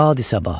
Bahdu səbah.